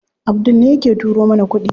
Abdul ne yake turo mana kuɗi.